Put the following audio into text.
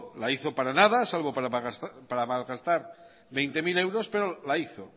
la hizo para nada salvo para mal gastar veinte mil euros pero la hizo